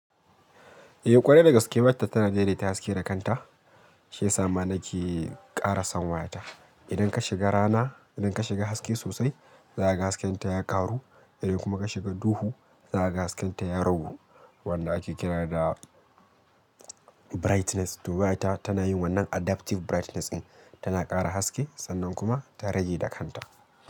Eh ƙwarai da gaske, wayata tana dai dai ta haske da kanta, Shiyasa ma nake ƙara san watan. Idan ka shiga rana, idan ka shiga haske sosai, zakaga hasken ta karu. Idan kuma ka shiga duhu, zakaga hasken ta ya ragu. Wanda ake kira da brightness, to wayata tana yin wannan adapting brightness ɗin, tana ƙara haske sannan kuma ta rage da kanta.